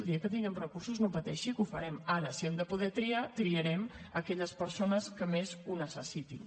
el dia que tinguem recursos no pateixi que ho farem ara si hem de poder triar triarem aquelles persones que més ho necessitin